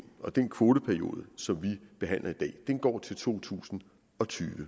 og den kvoteperiode som vi behandler i dag går til to tusind og tyve